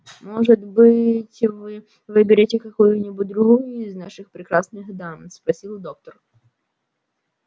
может быть вы выберете какую-нибудь другую из наших прекрасных дам спросил доктор